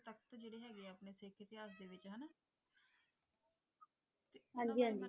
ਹਾਂ ਜੀ ਹਾਂ ਜੀ